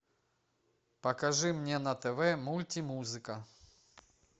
покажи мне на тв мульти музыка